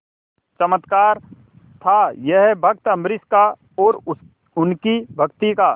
चमत्कार था यह भक्त अम्बरीश का और उनकी भक्ति का